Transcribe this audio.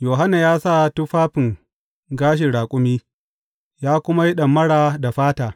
Yohanna ya sa tufafin gashin raƙumi, ya kuma yi ɗamara da fata.